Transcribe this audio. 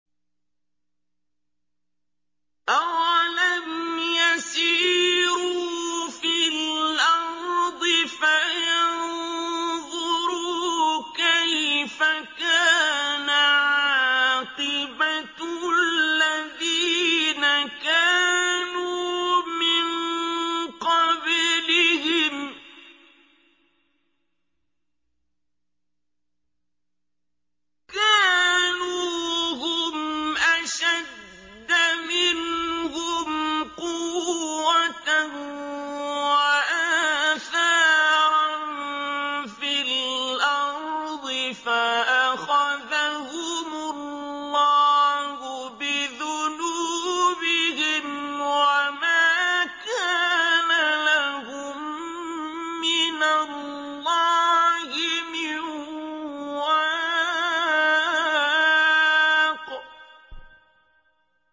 ۞ أَوَلَمْ يَسِيرُوا فِي الْأَرْضِ فَيَنظُرُوا كَيْفَ كَانَ عَاقِبَةُ الَّذِينَ كَانُوا مِن قَبْلِهِمْ ۚ كَانُوا هُمْ أَشَدَّ مِنْهُمْ قُوَّةً وَآثَارًا فِي الْأَرْضِ فَأَخَذَهُمُ اللَّهُ بِذُنُوبِهِمْ وَمَا كَانَ لَهُم مِّنَ اللَّهِ مِن وَاقٍ